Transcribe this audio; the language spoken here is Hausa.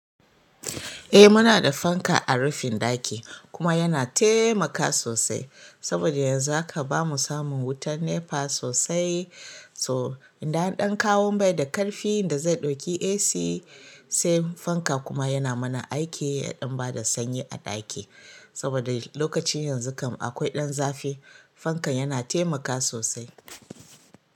Eh muna da fanka a rufin ɗaki kuma yana taimaka sosai saboda yanzu jaka bamu samun wutar NEPA sosai. So idan an ɗan kawo bai da ƙarfin da zai ɗauki AC sai fanka kuma yana mana aiki ya ɗan bada sanyi a ɗaki. Saboda lokacin yanzu kam akwai ɗan zafi, fankan yana taimaka sosai.